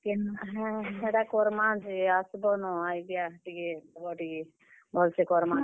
କେନ୍, ହଁ ହେଟା କର୍ ମା ଯେ, ଆସ୍ ବ ନ idea ଟିକେ ଦେବ ଟିକେ, ଭଲ୍ ସେ କର୍ ମା।